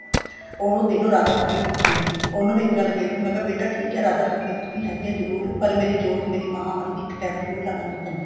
ਉਹ ਦੇਖਲੋ ਰਾਧਾ ਸਵਾਮੀ ਪੱਕੇ ਏ ਉਹਨਾ ਨੇ ਇੱਕ ਗੱਲ ਕਹੀ ਸੀ ਬੇਟਾ ਠੀਕ ਹੈ ਰਾਧਾ ਸਵਾਮੀ ਤੁਸੀਂ ਹੈਗੇ ਹੋ ਜਰੂਰ ਪਰ ਮੇਰੀ ਜੋਤ ਮਹਾ ਮਾਈ ਇੱਕ time ਜਰੂਰ ਲਗਾਉਣੀ ਹੈ ਤੇਨੇ